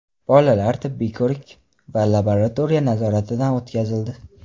Bolalar tibbiy ko‘rik va laboratoriya nazoratidan o‘tkazildi.